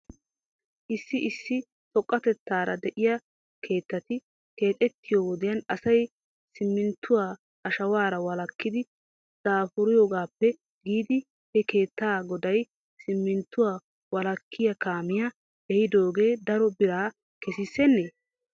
Issi issi xoqqatetaara de'iyaa keettati keexettiyoo wodiyan asay simminttuwaa ashawaara wolakkiidddi daafuriyoogaappe giidi he keetta goday simminttuwaa wolakkiyaa kaamiyaa ehidoogee a daro biraa kesissennee?